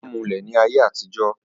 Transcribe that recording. wọ́n máa ń mulẹ̀ ní ayé àtijọ́